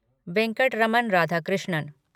Venkataraman Radhakrishnan